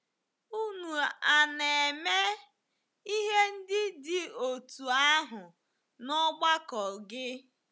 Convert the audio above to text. Unu a na-eme ihe ndị dị otú ahụ n’ọgbakọ gị?